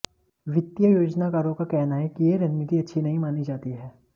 वित्तीय योजनाकारों का कहना है कि यह रणनीति अच्छी नहीं मानी जाती है